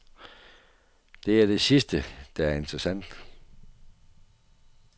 Det er det sidste, der er interessant.